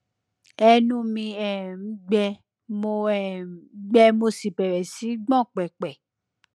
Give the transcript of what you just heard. ẹnu mi um gbẹ mo um gbẹ mo sì bẹrẹ sí í gbọn pẹpẹ